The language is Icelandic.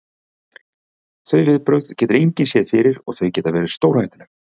Þau viðbrögð getur engin séð fyrir og þau geta verið stórhættuleg.